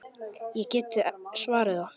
Ég get svarið það.